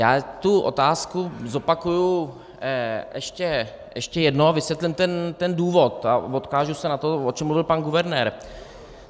Já tu otázku zopakuji ještě jednou a vysvětlím ten důvod a odkážu se na to, o čem mluvil pan guvernér.